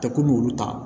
Tɛ kulu ta